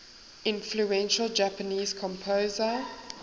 influential japanese composer